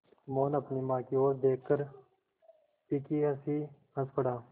मोहन अपनी माँ की ओर देखकर फीकी हँसी हँस पड़ा